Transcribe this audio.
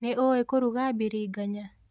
Nĩũĩ kũruga biringanya?